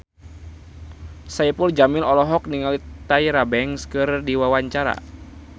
Saipul Jamil olohok ningali Tyra Banks keur diwawancara